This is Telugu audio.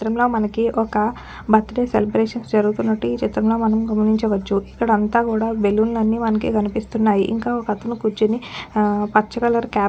ఈ చిత్రంలో మనకి ఒక్క బర్త్డే సెలబ్రేషన్స్ జరుగుతున్నట్లు ఈ చిత్రంలో మనం గమనించవచ్చు. ఇక్కడ అంతా కూడా బెలూన్ లన్ని మనకి కనిపిస్తున్నాయి. ఇంకా ఒక్కతను కూర్చొని ఆ పచ్చ కలర్ క్యాప్ --